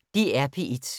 DR P1